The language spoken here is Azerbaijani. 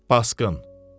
Paskın.